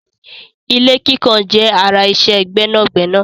Ilé kíkàn jẹ́ ara iṣẹ́ gbẹ́nàgbẹnà.